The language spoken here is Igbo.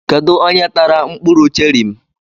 Kedụ onye tara mkpụrụ cherị m?